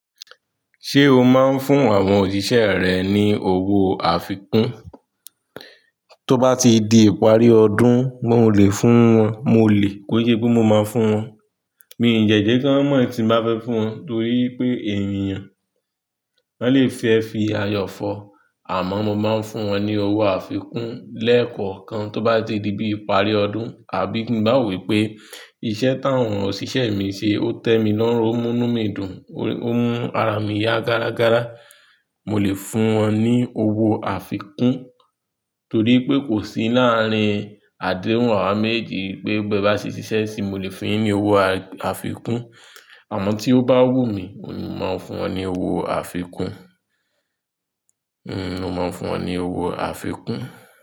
Ṣé o máa ń fún àwọn òṣìṣẹ́ rẹ ní owó àfikún? Tó ba ti di ipari ọdún mọ le fún wọn. Mo lè ko ṣé pé mo máa fún wọn. Mi ò jẹ̀jé kán mọ̀ tí n bá fẹ́ fún wọn torí pé ènìyàn máa le fẹ́ fi ayọ̀ fọ̀. Àmọ́ mo máa ń fún wọn ní owó àfikún lẹ́ẹ̀kọ̀kan. Tó bá ti di bí ìparí ọdún àbí kí n bá wò pé iṣẹ́ táwọn òṣìṣẹ́ mi ṣe ó tẹ́ mi lọ́wọ́, ó mú mí dùn, ó mú ara mi yá gárágára, mo lè fún wọn ní owó àfikún. Torí pé kò sí láàrin àdéhùn awa méjì pé bí ẹ bá ṣe ṣiṣẹ́ sí i, mo lè fún un ní owó àfikún. Àmọ́ tí ó bá wù mí, mo máa fún wọn ní owó àfikún. N ò máa fún wọn ní owó àfikún.